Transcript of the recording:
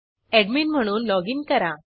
admin म्हणून login करा